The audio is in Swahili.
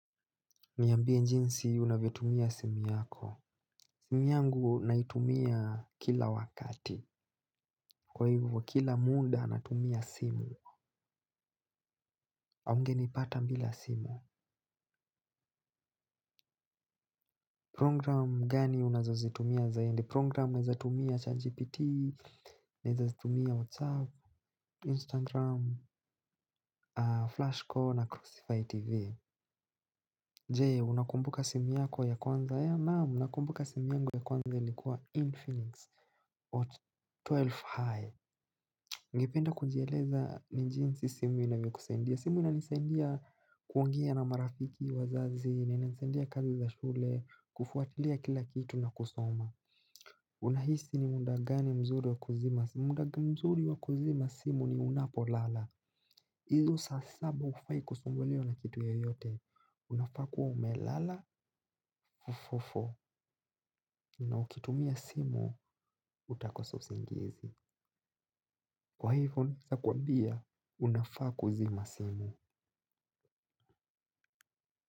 Niambie njinsi, unavyotumia simu yako. Simu yangu, naitumia kila wakati. Kwa hivo, kila muda natumia simu. Aungenipata mbila simu. Program gani unazozitumia zainde? Program naezatumia Chatgpt, naezatumia WhatsApp, Instagram, Flashcore, na Crucify TV. Je, unakumbuka simu yako ya kwanza? Ee, naam, nakumbuka simu yangu ya kwanza ilikua, Infinix or Twelf High. Ngependa kujieleza ni jinsi, simu inavyokusaidia. Simu inanisaidia, kuongea na marafiki wazazi, na inanisaidia kazi za shule, kufuatilia kila kitu na kusoma. Unahisi ni muda gani mzuri wa kuzima simu? Muda mzuri wa kuzima simu ni unapolala. Izo saa saba ufai kusumbuliwa na kitu yeyote. Unafaa kuwa umelala, fofofo. Na ukitumia simu, utakosa usingizi. Kwa hivo, sakuambia, unafaa kuzima simu.